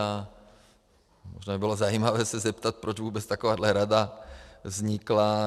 A možná by bylo zajímavé se zeptat, proč vůbec takováhle rada vznikla.